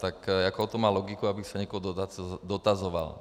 Tak jakou to má logiku, abych se někoho dotazoval?